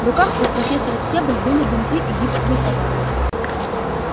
в руках у профессора стебль были бинты и гипсовые повязки